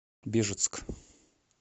бежецк